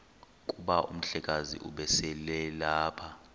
kuba umhlekazi ubeselelapha